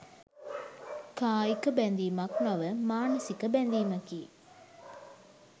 කායික බැඳීමක් නොව මානසික බැඳීමකි.